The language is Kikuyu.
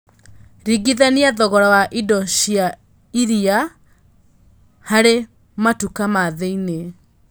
rĩngithania thogora wa ĩndo cia iria harĩ matũka ma thĩini